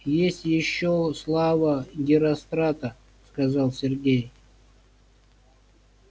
есть ещё слава герострата сказал сергей